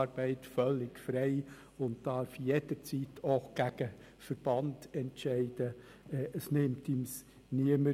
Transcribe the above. Denn ich will nicht, dass die Stimmenzähler die Kuverts einsammeln, während die Leute noch am Ausfüllen sind.